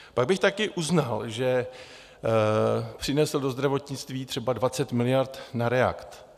Pak bych také uznal, že přinesl do zdravotnictví třeba 20 miliard na REACT.